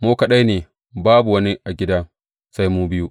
Mu dai kaɗai ne; babu wani a gidan sai mu biyu.